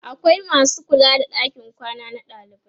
akwai masu kula da ɗakin kwana na dalibai